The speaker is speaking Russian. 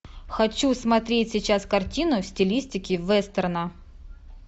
хочу смотреть сейчас картину в стилистике вестерна